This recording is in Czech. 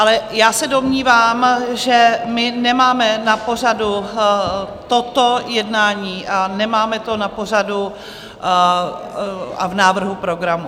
Ale já se domnívám, že my nemáme na pořadu toto jednání a nemáme to na pořadu a v návrhu programu.